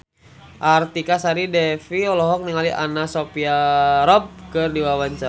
Artika Sari Devi olohok ningali Anna Sophia Robb keur diwawancara